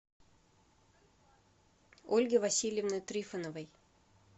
ольги васильевны трифоновой